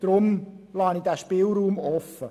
Deshalb lasse ich diesen Spielraum offen.